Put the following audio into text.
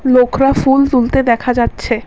লোখরা ফুল তুলতে দেখা যাচ্ছে।